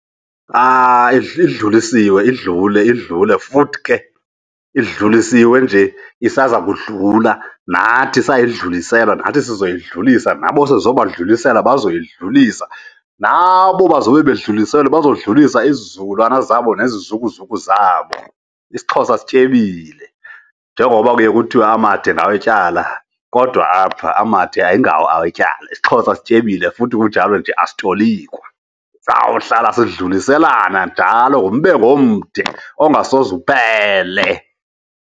Idlulisiwe idlule idlule futhi ke idlulisiwe nje, isaza kudlula. Nathi sayidluliselwa nathi sizoyidlulisa, nabo sizoba dlulisela bazoyidlulisa. Nabo bazobe bedluliselwe, bazodlulisa izizukulwana zabo nezizukuzuku zabo. IsiXhosa sityebile njengoba kuye kuthiwe amade ngawetyala kodwa apha amade ayingawo awetyala. IsiXhosa sityebile futhi kunjalo nje asitolikwa, sawuhlala sidluliselana njalo ngombengo omde ongasoze uphele.